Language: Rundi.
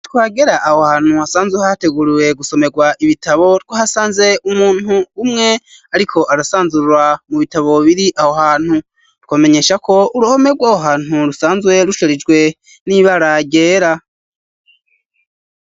Twagera aho hantu hasanzwe hateguriwe gusomerwa ibitabo twahasanze umuntu umwe ariko arasanzurra mu bitabo biri aho hantu ,twomenyesha ko uruhome rw'aho hantu rusanzwe rusharijwe n'ibara ryera.